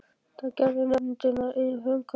Þetta gerði nefndin að eigin frumkvæði.